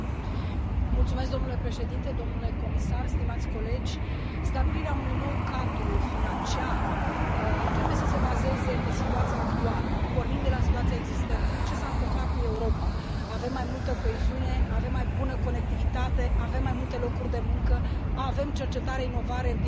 Domnule președinte, domnule comisar, stimați colegi, stabilirea unui nou cadru financiar trebuie să se bazeze pe situația actuală, pornind de la situația existentă ce s a întâmplat cu Europa, avem mai multă coeziune, avem mai bună conectivitate, avem mai multe locuri de muncă, avem cercetare, inovare în piața globală.